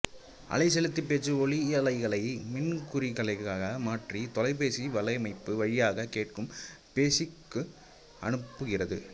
அலைசெலுத்தி பேச்சு ஒலியலைகளை மின்குறிகைகளாக மாற்றி தொலைபேசி வலையமைப்பு வழியாக கேட்கும் பேசிக்கு அனுப்புகிறது